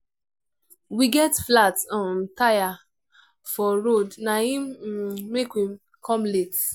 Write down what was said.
we get flat um tire for road na im um make we come late.